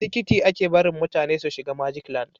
Da tikiti a ke barin mutane su shiga magic land